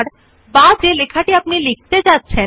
font নামে ক্ষেত্রের পাশে ফন্ট সাইজ ক্ষেত্রটি আছে